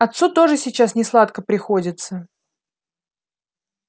отцу тоже сейчас несладко приходится